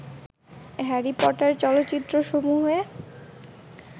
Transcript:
Harry Potter চলচ্চিত্রসমূহে